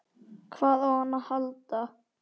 Hvað á hann að halda?